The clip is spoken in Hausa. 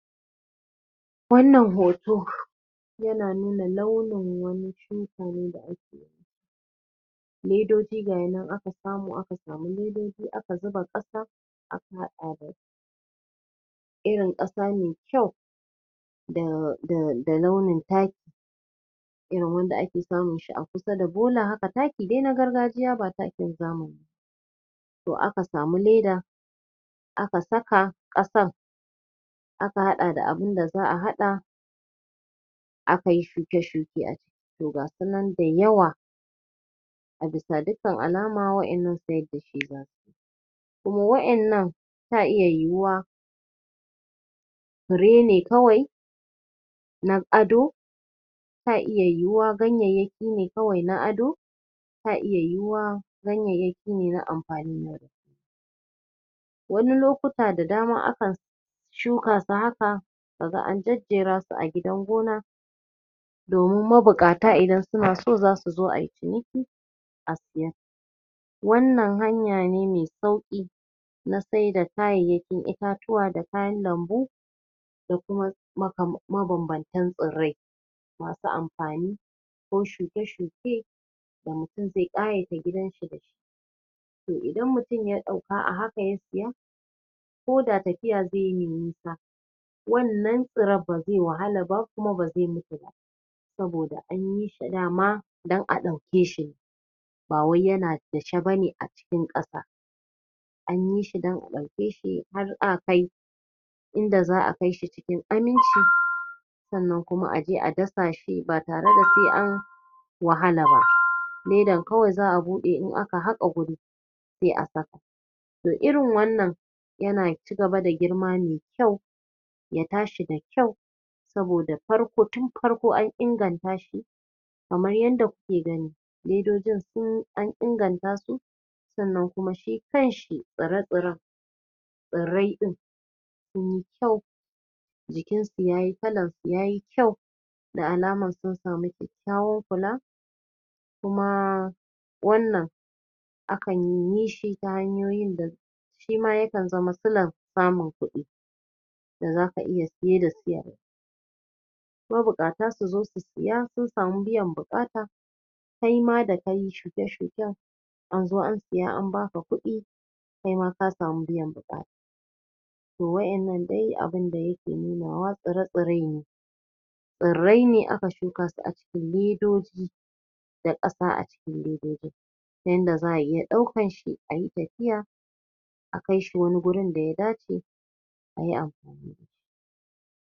wannan hoto yana nuna wani launin kamfanin da ake ledoji gayinan aka samu aka samu ledoji aka zuba ƙasa aka haɗa irin ƙasa me kyau da da da launin taki irin wanda ake samun su a kusa da bola haka taki da na gargajiya ba takin zama to aka samu leda aka saka ƙasan aka haɗa da abunda za'a haɗa akayi shuke shuke a toh gasunan da yawa ga bisa dukkan alama wa'innan siyar dasu za'a kuma wa'innan ta iya yiwuwa fure ne kawai na ado ta iya yiwuwa ganyayyaki ne kawai na ado ta iya yiwuwa ganyayyaki ne na amfani wani lokuta da dama akan shuka su haka kaga an jejjerasu a gidan gona domin mabuƙata idan suna so zasu zo ayi ciniki a siye wannan hanya ne mai sauƙi na saida kayayyakin itatuwa da kayan lambu da kuma maka mabanbantan tsairrai yafi amfani ko shuke shuke da mutum zai ƙayata gidan shi da shi to idan mutum ya ɗauka a haka ya siya koda tafiya zaiyi mai nisa wannan tsirran ba zai wahalaba kuma ba zai mutu ba saboda anyi sa dama dan a ɗauke shi bawai yana dake ban a cikin tsaka anyi shi don a ɗauke shi har a kai inda za'a kaishi cikin aminci sannan kuma aje a dasa shi ba tare da sai an an wahala ba ledan kawai za'a buɗe in aka haƙa guri sai a saka toh irin wannan yana cigaba da girma maikyau ya tashi da kyau saboda farko tun farko an inganta shi kamar yanda kuke gani daidai gunsu an inganta su sannan kuma shi kanshi tsire tsiren tsirrai ɗin sunyi kyau jikin su yayi kalan su yayi kyau da alaman sun sama kyakkyawan kula kuma wannan? shima yakan zama silan samun kuɗi da zaka iya siye da siyar mabuƙata suzo su siya sun samu biyan buƙata kaima da kayi shuke shuken anzo an siya an baka kuɗi kaima ka samu biyan buƙata toh w a'innan dai abunda yake nunawa tsire tsirai ne tsirrai ne aka shuka su a cikin ledoji da ƙasa a cikin ledojin ta yanda za'a iya ɗaukan shi ayi tafiya a kaishi wani gurin da ya dace ayi a